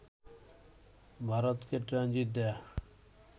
ভারতকে ট্রানজিট দেয়া